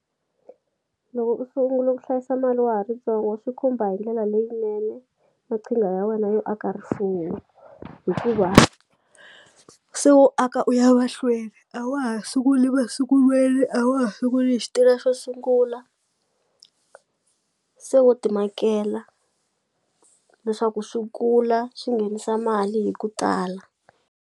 Loko u sungula ku hlayisa mali wa ha ri tsongo swi khumba hi ndlela leyinene maqhinga ya wena yo aka rifuwo hikuva se u aka u ya mahlweni a wa ha sunguli masungulweni a wa ha sunguli hi xo sungula se wo ti makela leswaku swi kula swi nghenisa mali hi ku tala.